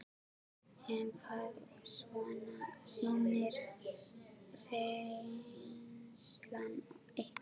Sunna: En hvað svona sýnir reynslan ykkur?